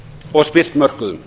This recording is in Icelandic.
og spillt mörkuðum